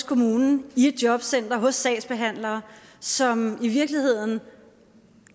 kommunen i et jobcenter hos sagsbehandlere som i virkeligheden